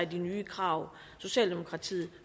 de nye krav socialdemokratiet